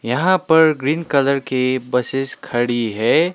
यहां पर green colour के बसेस खड़ी है।